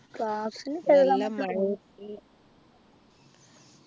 നല്ല മഴയത്ത്